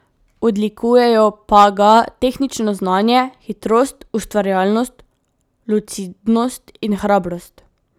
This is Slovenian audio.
Odlikujejo pa ga tehnično znanje, hitrost, ustvarjalnost, lucidnost in hrabrost.